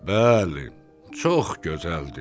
Bəli, çox gözəldir.